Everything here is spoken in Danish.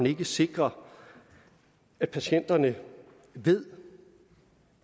ikke sikre at patienterne ved